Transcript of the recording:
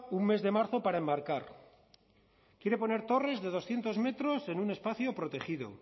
un mes de marzo para enmarcar quiere poner torres de doscientos metros en un espacio protegido